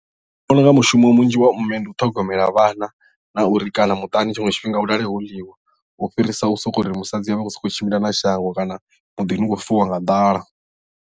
Ndi vhona unga mushumo munzhi wa mme ndi u ṱhogomela vhana na uri kana muṱani tshiṅwe tshifhinga hu lale ho ḽiwa u fhirisa u sokou ri musadzi a vha a khou sokou tshimbila na shango kana muḓini hu khou fiwa nga ḓala.